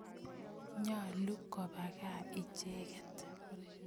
Nyalu kopa kaa icheket